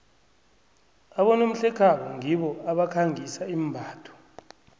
abonomhlekhabo ngibo abakhangisa imbatho